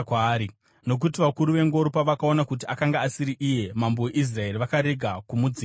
nokuti vakuru vengoro pavakaona kuti akanga asiri iye mambo weIsraeri vakarega kumudzingirira.